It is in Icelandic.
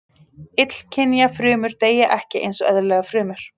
Illkynja frumur deyja ekki eins og eðlilegar frumur.